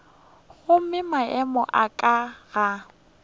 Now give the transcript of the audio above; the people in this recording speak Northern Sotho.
gomme maemo a ka ga